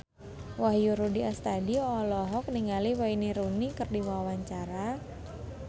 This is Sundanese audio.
Wahyu Rudi Astadi olohok ningali Wayne Rooney keur diwawancara